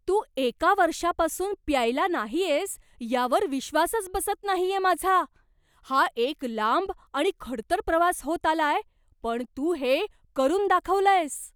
तू एका वर्षापासून प्यायला नाहीयेस यावर विश्वासच बसत नाहीये माझा! हा एक लांब आणि खडतर प्रवास होत आलाय, पण तू हे करून दाखवलंयस!